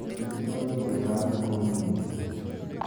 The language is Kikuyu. Wanyitirwo ni kieha thiku nyingi